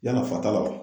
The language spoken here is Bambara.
Yann'a fata la wa